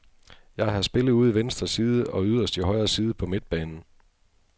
Jeg har spillet ude i venstre side og yderst i højre side på midtbanen.